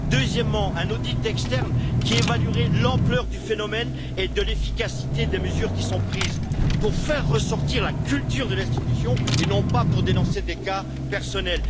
Deuxièmement, un audit externe devrait évaluer l'ampleur du phénomène et l'efficacité des mesures qui sont prises, pour faire ressortir la culture de l'institution et non pas pour dénoncer des cas personnels